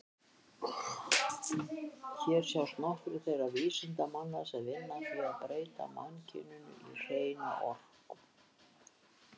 Hér sjást nokkrir þeirra vísindamanna sem vinna að því að breyta mannkyninu í hreina orku.